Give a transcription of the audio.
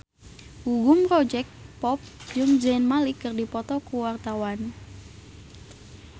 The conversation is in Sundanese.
Gugum Project Pop jeung Zayn Malik keur dipoto ku wartawan